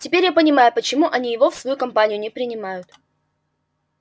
теперь я понимаю почему они его в свою компанию не принимают